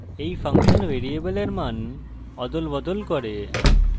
এই ফাংশন ভ্যারিয়েবলের মান অদলবদল করবে